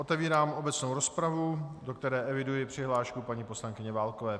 Otevírám obecnou rozpravu, do které eviduji přihlášku paní poslankyně Válkové.